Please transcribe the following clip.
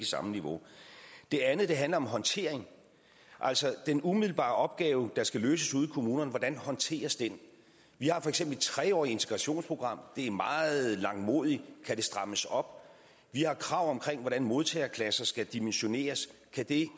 samme niveau det andet handler om håndtering altså den umiddelbare opgave der skal løses ude i kommunerne håndteres vi har for eksempel et tre årig t integrationsprogram det er meget langmodigt kan det strammes op vi har krav om hvordan modtagerklasser skal dimensioneres kan det